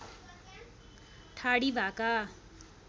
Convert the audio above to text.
ठाडी भाका